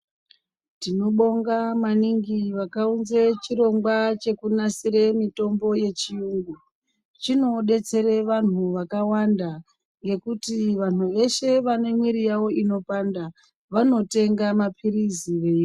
Tinobonga maningi vakaunze chirongwa chekunasire mutombo yechiyungu chinodetsera vanhu vakawanda ngekuti vanhu veshe vane mwiri yawo inopanda vanotenga mapirizi vei.